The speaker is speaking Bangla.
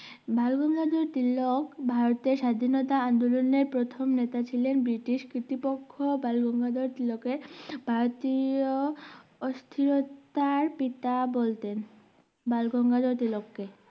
বালগঙ্গাধর তিলক ভারতের স্বাধীনতা আন্দোলনের প্রথম নেতা ছিলেন ব্রিটিশ কির্তিপক্ষ বালগঙ্গাধর তিলকের ভারতীয় অস্থিরতার পিতা বলতেন বালগঙ্গাধর তিলক কে